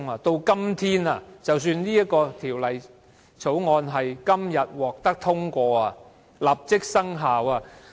即使《2017年僱傭條例草案》今天獲得通過，立即生效......